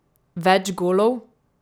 Več golov?